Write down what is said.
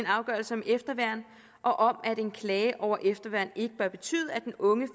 afgørelse om efterværn og at en klage over efterværn ikke bør betyde at den unge